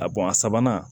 A a sabanan